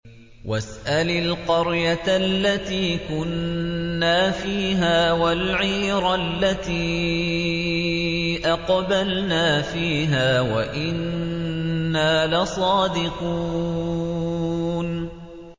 وَاسْأَلِ الْقَرْيَةَ الَّتِي كُنَّا فِيهَا وَالْعِيرَ الَّتِي أَقْبَلْنَا فِيهَا ۖ وَإِنَّا لَصَادِقُونَ